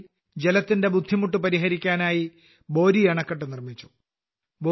ഖൂൺട്ടിയിൽ ജലത്തിന്റെ ബുദ്ധിമുട്ട് പരിഹരിക്കാനായി ബോരിഅണക്കെട്ട് നിർമ്മിച്ചു